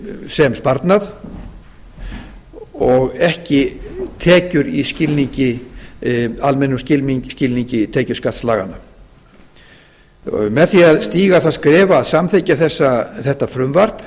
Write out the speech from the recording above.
sem sparnað og ekki tekjur í almennum skilningi tekjuskattslaganna með því að stíga það skref að samþykkja þetta frumvarp